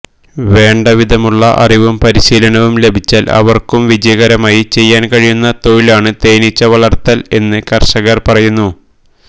വേണ്ണ്ടവിധമുള്ള അറിവും പരിശീലനവും ലഭിച്ചാല് ഏവര്ക്കും വിജയകരമായി ചെയ്യുവാന് കഴിയുന്ന തൊഴിലാണ് തേനീച്ചവളര്ത്തല് എന്ന് കര്ഷകര് പറയുന്നു